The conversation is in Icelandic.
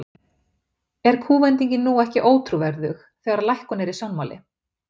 Er kúvendingin nú ekki ótrúverðug, þegar að lækkun er í sjónmáli?